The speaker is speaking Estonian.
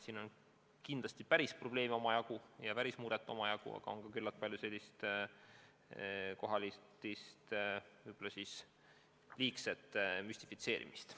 Siin on kindlasti tõelisi probleeme ja tõelist muret omajagu, aga on ka küllalt palju kohatist võib olla liigset müstifitseerimist.